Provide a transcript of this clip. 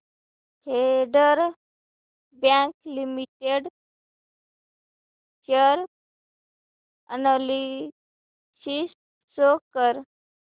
federal Bank Limited share analysis show कर